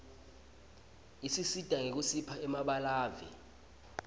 isisita nyekusipha emabalaue